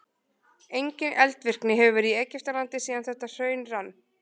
Engin eldvirkni hefur verið í Egyptalandi síðan þetta hraun rann.